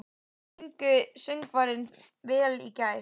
Sungu söngvararnir vel í gær?